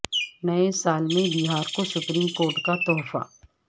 نئے سال میں بہار کو سپریم کورٹ کا تحفہ